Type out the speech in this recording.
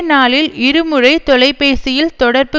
நாளில் இருமுறை தொலைபேசியில் தொடர்பு